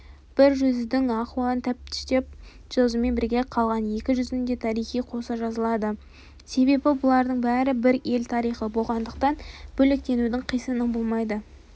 бір жүздің ахуалын тәптіштеп жазумен бірге қалған екі жүздің де тарихы қоса жазылады себебі бұлардың бәрі бір ел тарихы болғандықтан бөлектеудің қисыны болмайды